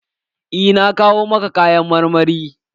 Eh, na kawo maka kayan marmari.